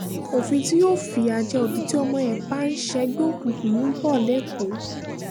òfin tí yóò fìyà jẹ òbí tí ọmọ ẹ bá ń ṣègbè òkùnkùn ń bọ̀ lẹ́kọ̀ọ́